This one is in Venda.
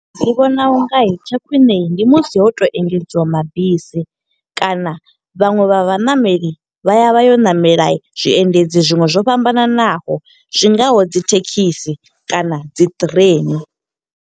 Ndi vhona unga tsha khwiṋe ndi musi ho to engedziwa mabisi, kana vhaṅwe vha vhaṋameli vha ya vha yo ṋamela zwiendedzi zwiṅwe zwo fhambananaho. Zwingaho dzi thekhisi kana dzi train.